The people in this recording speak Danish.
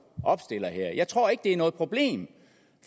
opstiller her jeg tror ikke det er noget problem